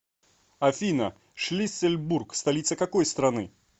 афина шлиссельбург столица какой страны